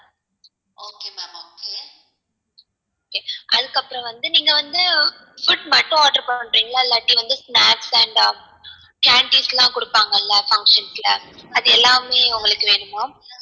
அதுக்கு அப்புறம் வந்து நீங்க வந்து food மட்டும் order பன்றிங்களா இல்லாட்டி வந்து snacks and candies லாம் குடுப்பாங்கள்ள functions ல அது எல்லாமே உங்களுக்கு வேணுமா?